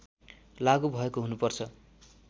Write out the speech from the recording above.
लागु भएको हुनुपर्छ